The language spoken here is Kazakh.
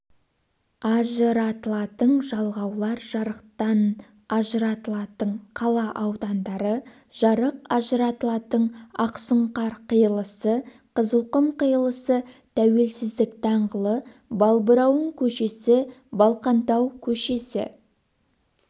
ажыратылатын жалғаулар жарықтанажыратылатынқала аудандары жарық ажыратылатын ақсұңқар қиылысы қызылқұм қиылысы тәуелсіздік даңғылы балбырауын көшесі балқантау көшесі